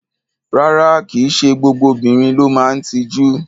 Rárá, kì í ṣe gbogbo obìnrin ló máa ń tijú.